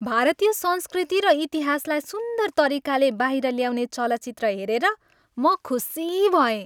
भारतीय संस्कृति र इतिहासलाई सुन्दर तरिकाले बाहिर ल्याउने चलचित्र हेरेर म खुसी भएँ।